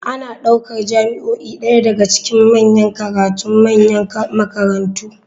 Ana ɗaukar jami'o'i ɗaya daga cikin manyan karatun manyan makarantu.